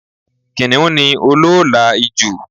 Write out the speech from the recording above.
Kìnìún ní olóòolà ijù